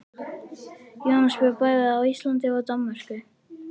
Jónas bjó bæði á Íslandi og í Danmörku.